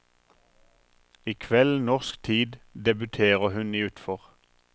I kveld, norsk tid, debuterer hun i utfor.